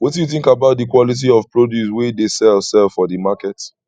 wetin you think about di quality of produce wey dey sell sell for di market